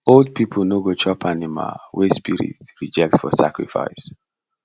old people no go chop animal wey spirit reject for sacrifice